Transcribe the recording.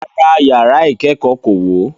Rárá, yàrá ìkẹ́kọ̀ọ́ kò wó.